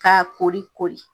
Ka kori kori.